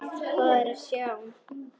Hvað er að sjá